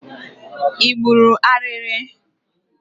Ị gburu ariri?